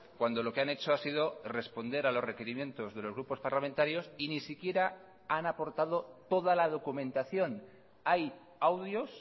cuando lo que han hecho ha sido responder a los requerimientos de los grupos parlamentarios y ni siquiera han aportado toda la documentación hay audios